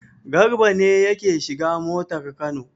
Garba ne yake shiga motar Kano.